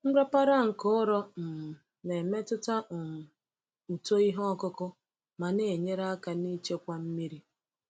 Nrapara nke ụrọ um na-emetụta um uto ihe ọkụkụ ma na-enyere aka n’ichekwa mmiri.